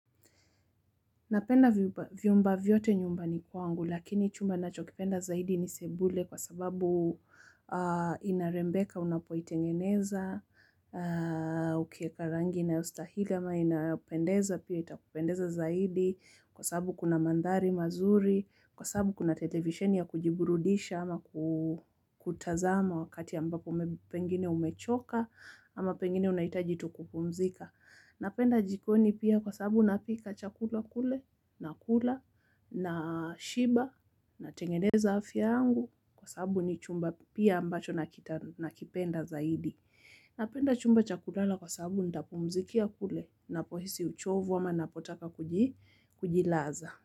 Napenda vyumba vyote nyumbani kwangu, lakini chumba ninachokipenda zaidi ni sebule kwa sababu inarembeka, unapoitengeneza, ukieka rangi inayostahili ama inapendeza, pia itakupendeza zaidi kwa sababu kuna mandhari mazuri, kwa sababu kuna televisheni ya kujiburudisha ama kutazama wakati ambapo maybe pengine umechoka ama pengine unahitaji tu kupumzika. Napenda jikoni pia kwa sabu napika chakula kule nakula nashiba natengeneza afya yangu kwa sababu ni chumba pia ambacho nakipenda zaidi. Napenda chumba cha kulala kwa sababu ntapumzikia kule napohisi uchovu ama napotaka kujilaza.